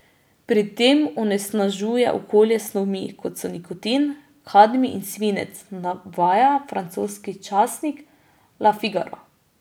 Pri tem onesnažuje okolje s snovmi, kot so nikotin, kadmij in svinec, navaja francoski časnik Le Figaro.